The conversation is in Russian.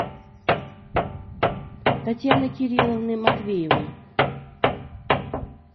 татьяны кирилловны матвеевой